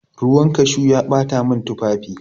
Ruwan cashew ya bata mata tufafi.